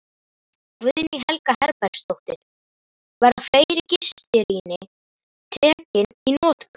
Guðný Helga Herbertsdóttir: Verða fleiri gistirými tekin í notkun?